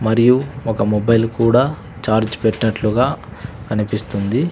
మరియు ఒక మొబైల్ కూడా ఛార్జ్ పెట్టినట్లుగా కనిపిస్తుంది.